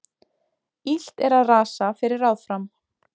Illt er að rasa fyrir ráð fram.